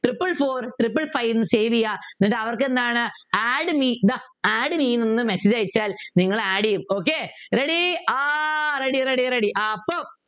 Triple four triple five എന്ന് Save ചെയ്യുക എന്നിട്ട് അവർക്ക് എന്താണ് Add me Add me ന്നൊന്നു Messenge അയച്ചാൽ നിങ്ങൾ Add ചെയ്യും okay Ready ആഹ് Ready Ready Ready